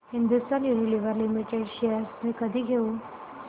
Hindustan Unilever limited shares मी कधी घेऊ